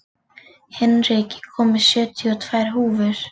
Hinrik, ég kom með sjötíu og tvær húfur!